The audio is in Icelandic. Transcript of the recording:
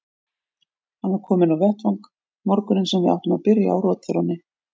Hann var kominn á vettvang morguninn sem við áttum að byrja á rotþrónni.